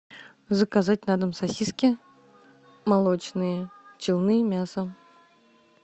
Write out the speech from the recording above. заказать на дом сосиски молочные челны мясо